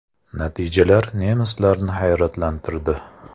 Natijalar nemislarni hayratlantirdi.